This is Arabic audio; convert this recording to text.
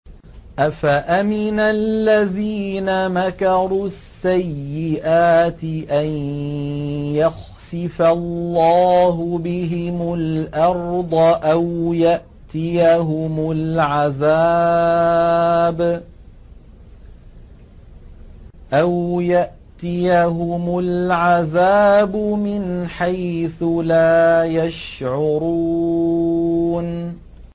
أَفَأَمِنَ الَّذِينَ مَكَرُوا السَّيِّئَاتِ أَن يَخْسِفَ اللَّهُ بِهِمُ الْأَرْضَ أَوْ يَأْتِيَهُمُ الْعَذَابُ مِنْ حَيْثُ لَا يَشْعُرُونَ